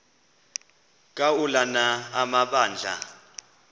ka ulana amabandla